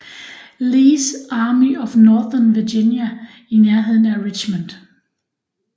Lees Army of Northern Virginia i nærheden af Richmond